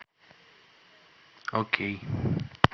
окей